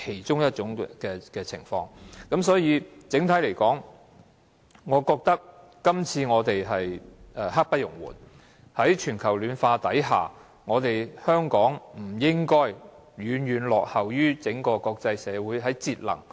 整體而言，我認為我們今次的工作刻不容緩，在全球暖化下，香港在節能方面不應該遠遠落後於國際社會。